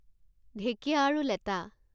ঢেঁকীয়া আৰু লেটা